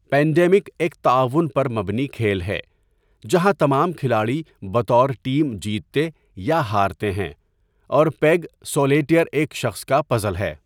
Pandemic ایک تعاون پر مبنی کھیل ہے جہاں تمام کھلاڑی بطور ٹیم جیتتے یا ہارتے ہیں، اور پیگ سولیٹیئر ایک شخص کا پزل ہے۔